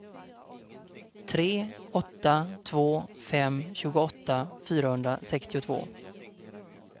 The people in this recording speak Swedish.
tre åtta två fem tjugoåtta fyrahundrasextiotvå